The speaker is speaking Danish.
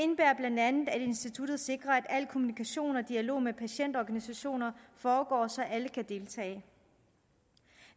instituttet sikrer at al kommunikation og dialog med patientorganisationer foregår så alle kan deltage